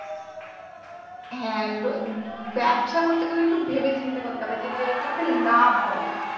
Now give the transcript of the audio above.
হ্যাঁ তো ব্যবসা করতে গেলে একটু ভেবে চিনতে করতে হবে যে~ যেটাতে লাভ হবে